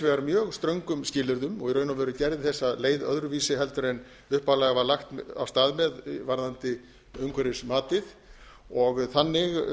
vegar mjög ströngum skilyrðum og í raun og veru gerði þessa leið öðruvísi en upphaflega var lagt af stað með varðandi umhverfismatið þannig